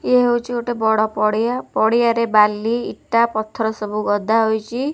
ଏ ହେଉଛି ଗୋଟିଏ ବଡ ପଡିଆ ପଡିଆରେ ବାଲି ଇଟା ପଥର ସବୁ ଗଦା ହେଇଛି ।